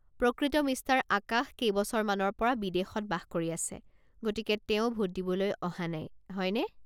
প্ৰকৃত মিষ্টাৰ আকাশ কেইবছৰমানৰ পৰা বিদেশত বাস কৰি আছে, গতিকে তেওঁ ভোট দিবলৈ অহা নাই, হয়নে?